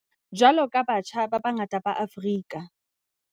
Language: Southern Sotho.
Jwalo ka batjha ba bangata ba Afrika.